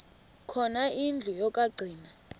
khona indlu yokagcina